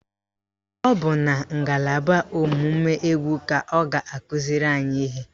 Ọ bụ na ngalaba ọ̀mụ̀mụ̀ égwú ka ọ ga-akụziri anyị ihe?